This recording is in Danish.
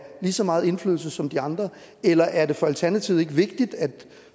lige så meget indflydelse som de andre eller er det for alternativet ikke vigtigt at